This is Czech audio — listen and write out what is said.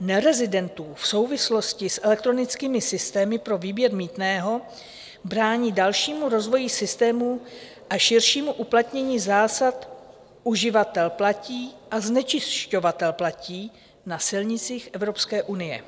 nerezidentů, v souvislosti s elektronickými systémy pro výběr mýtného brání dalšímu rozvoji systému a širšímu uplatnění zásad - uživatel platí a znečišťovatel platí na silnicích Evropské unie.